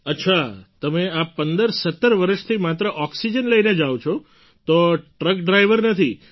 અચ્છા તમે આ ૧૫૧૭ વર્ષથી માત્ર ઑક્સિજન લઈને જાવ છો તો ટ્રક ડ્રાઇવર નથી